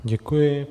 Děkuji.